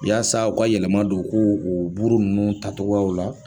Yasa u ka yɛlɛma don ko u buru ninnu tacogoyaw la.